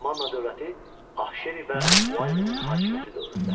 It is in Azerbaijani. Manna dövləti Ahşeri və Vallinin hakimiyyəti dövründə.